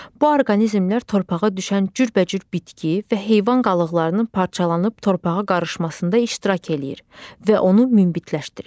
Bu orqanizmlər torpağa düşən cürbəcür bitki və heyvan qalıqlarının parçalanıb torpağa qarışmasında iştirak eləyir və onu münbitləşdirir.